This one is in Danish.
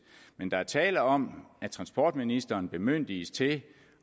men der er tale om at transportministeren bemyndiges til